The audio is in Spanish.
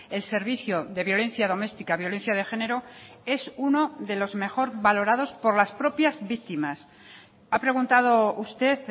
el servicio de violencia doméstica violencia de género es uno de los mejor valorados por las propias víctimas ha preguntado usted